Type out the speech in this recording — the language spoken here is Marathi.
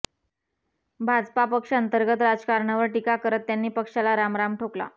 भाजपा पक्षांतर्गत राजकारणावर टीका करत त्यांनी पक्षाला रामराम ठोकला